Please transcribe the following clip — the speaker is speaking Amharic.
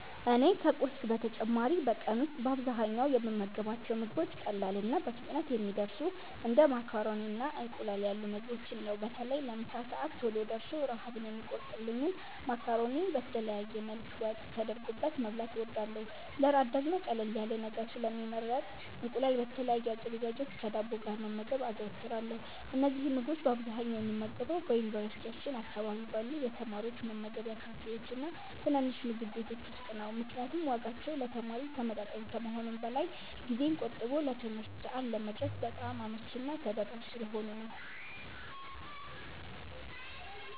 እኔ ከቁርስ በተጨማሪ በቀን ውስጥ በአብዛኛው የምመገባቸው ምግቦች ቀላልና በፍጥነት የሚደርሱ እንደ ማካሮኒና እንቁላል ያሉ ምግቦችን ነው። በተለይ ለምሳ ሰዓት ቶሎ ደርሶ ረሃብን የሚቆርጥልኝን ማካሮኒ በተለያየ መልክ ወጥ ተደርጎበት መብላት እወዳለሁ። ለእራት ደግሞ ቀለል ያለ ነገር ስለሚመረጥ እንቁላል በተለያየ አዘገጃጀት ከዳቦ ጋር መመገብ አዘወትራለሁ። እነዚህን ምግቦች በአብዛኛው የምመገበው በዩኒቨርሲቲያችን አካባቢ ባሉ የተማሪዎች መመገቢያ ካፌዎችና ትናንሽ ምግብ ቤቶች ውስጥ ነው፤ ምክንያቱም ዋጋቸው ለተማሪ ተመጣጣኝ ከመሆኑም በላይ ጊዜን ቆጥቦ ለትምህርት ሰዓት ለመድረስ በጣም አመቺና ተደራሽ ስለሆኑ ነው።